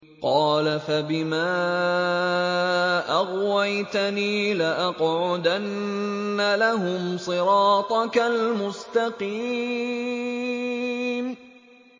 قَالَ فَبِمَا أَغْوَيْتَنِي لَأَقْعُدَنَّ لَهُمْ صِرَاطَكَ الْمُسْتَقِيمَ